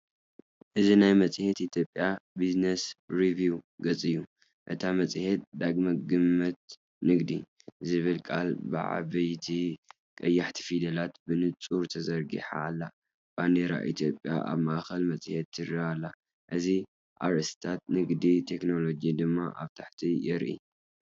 እዚ ናይ መጽሔት ኢትዮጵያ ቢዝነስ ሪቪው ገጽ እዩ። እታ መጽሔት “ዳግመ ግምት ንግዲ” ዝብላ ቃላት ብዓበይቲ ቀያሕቲ ፊደላት ብንጹር ተዘርጊሓ ኣላ። ባንዴራ ኢትዮጵያ ኣብ ማእከል መጽሔት ትረአ ኣላ። እዚ ኣርእስታት ንግድን ቴክኖሎጂን ድማ ኣብ ታሕቲ የርኢ።